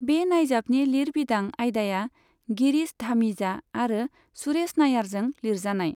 बे नायजाबनि लिरबिदां आयदाया गिरीश धामीजा आरो सुरेश नायारजों लिरजानाय।